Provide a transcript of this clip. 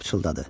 O pıçıldadı: